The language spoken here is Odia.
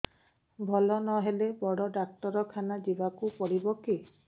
ଭଲ ନହେଲେ ବଡ ଡାକ୍ତର ଖାନା ଯିବା କୁ ପଡିବକି